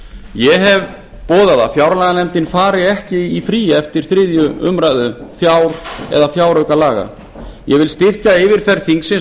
ég hef boðað að fjárlaganefndin fari ekki í frí eftir þriðju umræðu fjár eða fjáraukalaga ég vil styrkja yfirferð þingsins